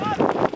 Çox çətindir.